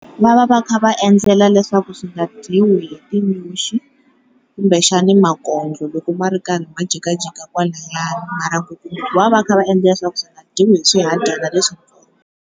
Va va va kha va endlela leswaku swi nga dyiwi hi tinyoxi kumbe xana makondlo loko ma ri karhi ma jikajika kwalayani mara ku va va va kha va endlela leswaku swi nga dyiwi hi swihadyana .